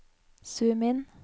zoom inn